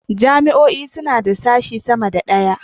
Jami'o'i suna da sashe sama da ɗaya.